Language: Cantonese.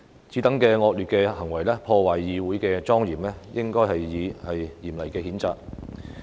此等惡劣行為破壞議會的莊嚴，應該予以嚴厲譴責。